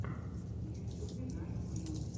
в ютюбе найт вилл